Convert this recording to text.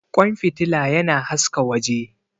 Ƙwan fitila yana haska waje.